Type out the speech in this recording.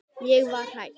Ég var hrædd.